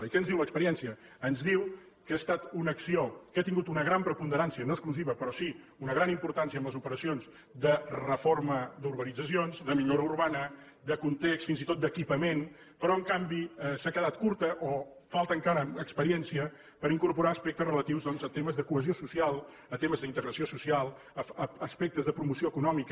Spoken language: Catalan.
i què ens diu l’experiència ens diu que ha estat una acció que ha tingut una gran preponderància no exclusiva però sí una gran importància en les operacions de reforma d’urbanitzacions de millora urbana de context fins i tot d’equipament però en canvi s’ha quedat curta o falta encara experiència per incorporar aspectes relatius doncs a temes de cohesió social a temes d’integració social a aspectes de promoció econòmica